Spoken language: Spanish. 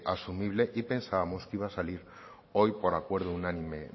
asumible y pensábamos que iba a salir hoy por acuerdo unánime